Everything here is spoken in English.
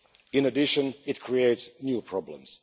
In addition, it creates new problems.